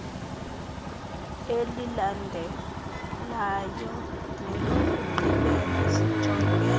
elilandelayo nelokugqibela sijonge